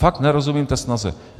Fakt nerozumím té snaze.